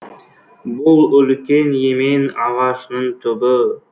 бұл үлкен емен ағашының түбі